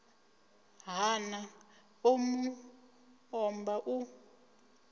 hana ḽo mu omba u